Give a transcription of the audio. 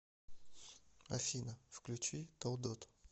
афина включи толдот